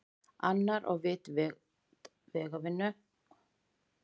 Annar á vit vegavinnu, hinn undir verndarvæng Steingerðar- þar til ísköld óvissan.